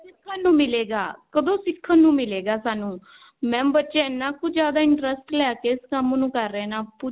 ਸਿਖਣ ਨੂੰ ਮਿਲੇਗਾ ਕਦੋਂ ਸਿਖਣ ਨੂੰ ਮਿਲੇਗਾ mam ਬੱਚੇ ਇੰਨਾ ਕੁ ਜਿਆਦਾ interest ਲੈ ਕੇ ਇਸ ਕੰਮ ਨੂੰ ਕਰ ਰਹੇ ਨਾ ਪੁੱਛੋ ਨਾ